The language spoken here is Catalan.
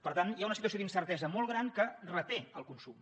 per tant hi ha una situació d’incertesa molt gran que reté el consum